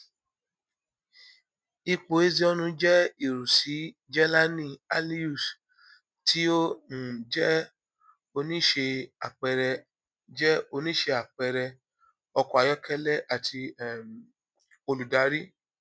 ipo ezeonu jẹ iru si jelani aliyus ti o um jẹ onise apẹẹrẹ jẹ onise apẹẹrẹ ọkọ ayọkẹlẹ ati um oludari